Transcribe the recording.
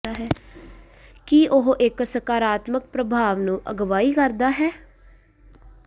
ਕਿ ਉਹ ਇੱਕ ਸਕਾਰਾਤਮਕ ਪ੍ਰਭਾਵ ਨੂੰ ਅਗਵਾਈ ਕਰਦਾ ਹੈ